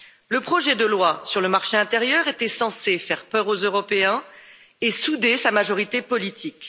Le projet de loi sur le marché intérieur était censé faire peur aux Européens et souder sa majorité politique.